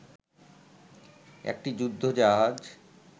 একটি যুদ্ধ জাহাজ